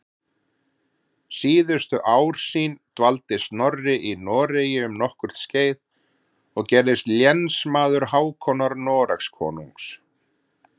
Síðustu ár sín dvaldi Snorri í Noregi um nokkurt skeið og gerðist lénsmaður Hákonar Noregskonungs.